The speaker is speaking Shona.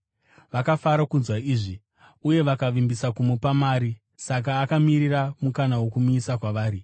Vakafara kunzwa izvi uye vakavimbisa kumupa mari. Saka akamirira mukana wokumuisa kwavari.